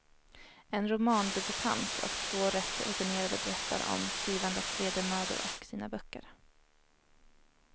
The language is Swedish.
En romandebutant och två rätt rutinerade berättar om skrivandets vedermödor och sina böcker.